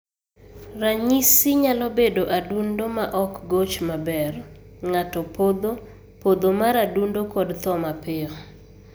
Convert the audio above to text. Ranyisi nyalo bedo adundo ma ok goch maber, ng'ato podho, podho mar adundo kod tho mapiyo